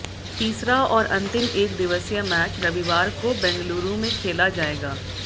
तीसरा और अंतिम एकदिवसीय मैच रविवार को बेंगलुरू में खेला जाएगा